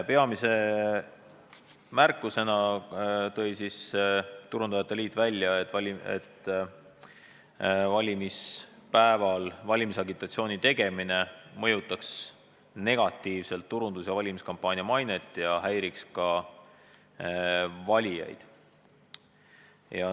Peamise märkusena tõi Turundajate Liit välja, et valimispäeval valimisagitatsiooni tegemine mõjutaks negatiivselt turundus- ja valimiskampaania mainet ning häiriks valijaid.